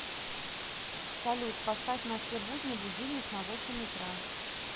салют поставь на все будни будильник на восемь утра